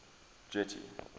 getty